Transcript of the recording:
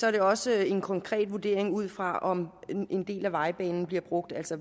er det også en konkret vurdering ud fra om en del af vejbanen bliver brugt altså